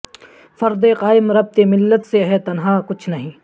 فرد قائم ربط ملت سے ہے تنہا کچھ نہیں